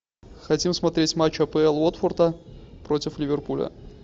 хотим смотреть матч апл уотфорда против ливерпуля